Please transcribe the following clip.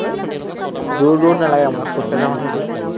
দূৰ দূৰ নালাগে আমাৰ, খোজকাঢ়ি যাওঁ যে সেইফালে।